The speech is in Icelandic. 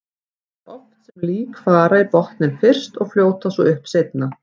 Það er oft sem lík fara í botninn fyrst og fljóta svo upp seinna.